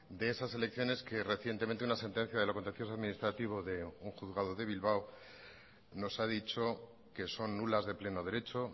de esas elecciones que recientemente una sentencia de lo contencioso administrativo de un juzgado de bilbao nos ha dicho que son nulas de pleno derecho